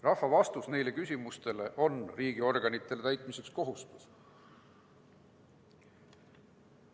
Rahva vastus sellisele küsimusele on riigiorganitele täitmiseks kohustuslik.